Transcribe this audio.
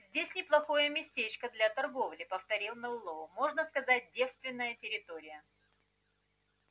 здесь неплохое местечко для торговли повторил мэллоу можно сказать девственная территория